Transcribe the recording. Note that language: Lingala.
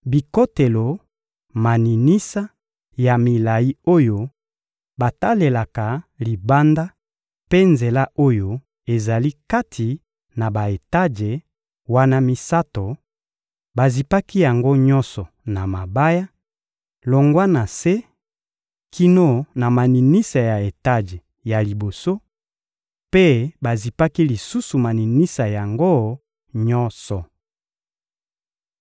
bikotelo, maninisa ya milayi oyo batalelaka libanda mpe nzela oyo ezali kati na ba-etaje wana misato, bazipaki yango nyonso na mabaya, longwa na se kino na maninisa ya etaje ya liboso, mpe bazipaki lisusu maninisa yango nyonso.